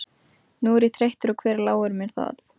Nú er ég þreyttur og hver láir mér það.